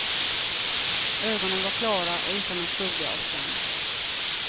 Ögonen var klara och utan en skugga av skam.